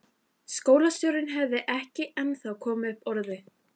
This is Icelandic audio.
Skólastjórinn hafði ekki ennþá komið upp orði.